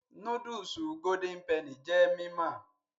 Núdúùsù golden penny jẹ́ mímọ̀